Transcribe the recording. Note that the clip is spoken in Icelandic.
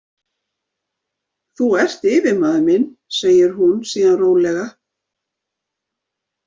Þú ert yfirmaður minn, segir hún síðan rólega.